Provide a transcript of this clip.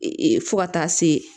fo ka taa se